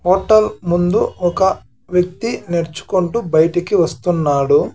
Hotel ముందు ఒక వ్యక్తి నడ్చుకుంటూ బయటికి వస్తున్నాడు.